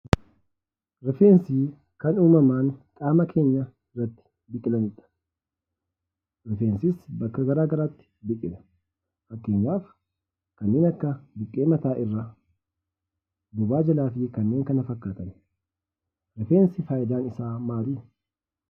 Rifeensii kan uumaman qaamaa keenyaa irratti biqilanii dha. Rifeensis bakka garaa garaatti biqila. Fakkeenyaaf kanneen akka buqqee mataa irraa, bobaa jalaa fi kanneen kana fakkaatan. Rifeensi faayidaan isaa maal?